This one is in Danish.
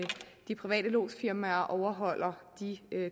de private lodsfirmaer overholder de